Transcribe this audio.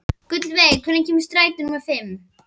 Gullveig, hvenær kemur strætó númer fimm?